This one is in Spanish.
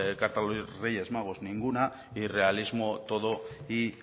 carta a los reyes magos ninguna y realismo todo y